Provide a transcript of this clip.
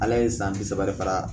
Ala ye san bi saba de fara